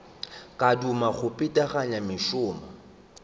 ka thoma go phethagatša mešomo